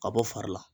Ka bɔ fari la